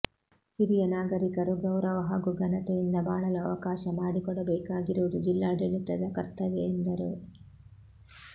ಹಿರಿಯ ನಾಗರಿಕರು ಗೌರವ ಹಾಗೂ ಘನತೆಯಿಂದ ಬಾಳಲು ಅವಕಾಶ ಮಾಡಿಕೊಡ ಬೇಕಾಗಿರುವುದು ಜಿಲ್ಲಾಡಳಿತದ ಕರ್ತವ್ಯ ಎಂದರು